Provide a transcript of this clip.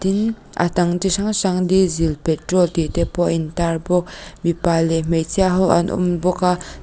tin a dang chi hrang hrang diesel petrol tih te pawh a intar bawk mipa leh hmeichhia ho an awm bawk a.